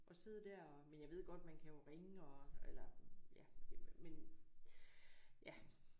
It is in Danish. Og sidde der og men jeg ved godt man kan jo ringe og eller ja men ja